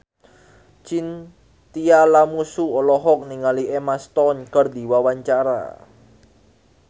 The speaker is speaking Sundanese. Chintya Lamusu olohok ningali Emma Stone keur diwawancara